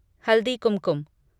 Haldi Kumkum